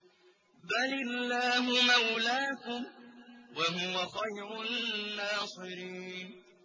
بَلِ اللَّهُ مَوْلَاكُمْ ۖ وَهُوَ خَيْرُ النَّاصِرِينَ